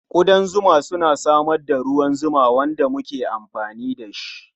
Ƙudan zuma suna samar da ruwan zuma wanda muke amfani da shi.